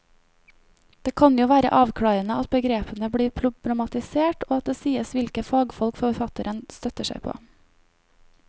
Det kan jo være avklarende at begrepene blir problematisert og at det sies hvilke fagfolk forfatteren støtter seg på.